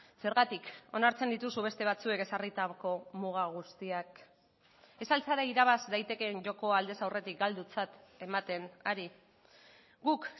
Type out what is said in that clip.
zergatik onartzen dituzu beste batzuek ezarritako muga guztiak ez al zara irabaz daitekeen joko aldez aurretik galdutzat ematen ari guk